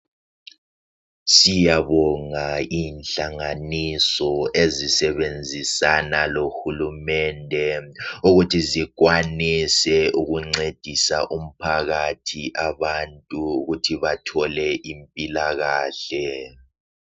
Siyabonga inhlanganiso ezisebenzisana lohulumende ukuthi zikwanise ukuncedisa umphakathi abantu ukuthi bathole impilakahle